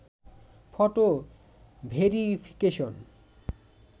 photo verification